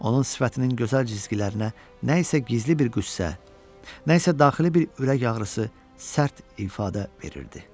Onun sifətinin gözəl cizgilərinə nə isə gizli bir qüssə, nə isə daxili bir ürək ağrısı sərt ifadə verirdi.